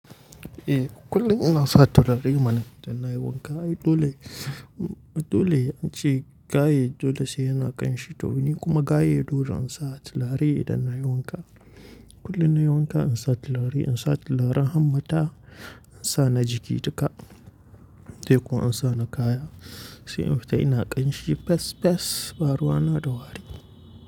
Eh kullum ina sa turare mana idan na yi wanka. Aye dole, dole ace gaye dole sai yana ƙanshi to nikuma gaye dole in sa turare idan na yi wanka. Kullum na yi wanka, in sa turare, in sa turaren hannu mata, in sa na jiki duka. Dai ko in sa na kaya sai in fita ina ƙanshi fes fes, baruwa na da wari.